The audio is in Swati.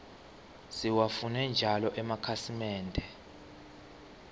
siwafune njalo emakhasimende